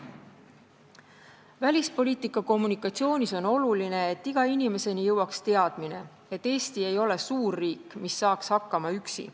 Välispoliitika kommunikatsioonis on oluline, et iga inimeseni jõuaks teadmine, et Eesti ei ole suurriik, mis saaks hakkama üksi.